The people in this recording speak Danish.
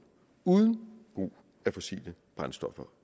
uden brug af fossile brændsler